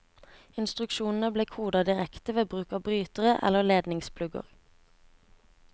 Instruksjonene ble kodet direkte ved bruk av brytere eller ledningsplugger.